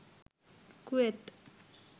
Kuwait